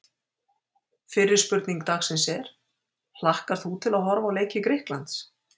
Fyrri spurning dagsins er: Hlakkar þú til að horfa á leiki Grikklands?